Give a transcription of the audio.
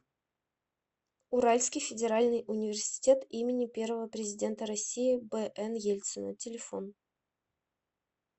уральский федеральный университет им первого президента россии бн ельцина телефон